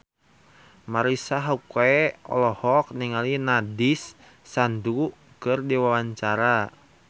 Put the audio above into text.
Marisa Haque olohok ningali Nandish Sandhu keur diwawancara